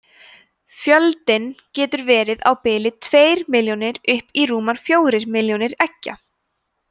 fjöldinn getur verið á bilinu tveir milljónir upp í rúmar fjórir milljónir eggja